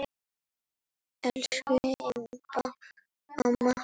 Elsku Imba amma.